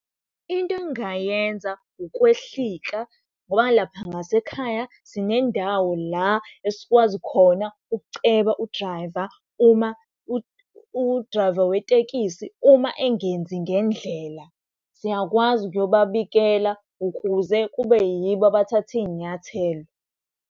Into engingayenza ukwehlika ngoba lapha ngasekhaya sinendawo la esikwazi khona ukuceba u-drayiva uma udrayiva wetekisi, uma engenzi ngendlela. Siyakwazi ukuyobabikela ukuze kube yibo abathatha iy'nyathelo.